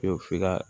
O f'i ka